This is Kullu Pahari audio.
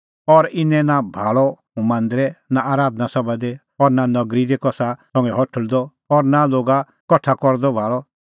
और इनै नां भाल़अ हुंह मांदरै नां आराधना सभा दी और नां नगरी दी कसा संघै हठल़दअ और नां लोगा कठा करदअ भाल़अ